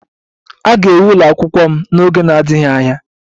A ga-ewu ụlọ akwụkwọ m n'oge na-adịghị anya